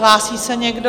Hlásí se někdo?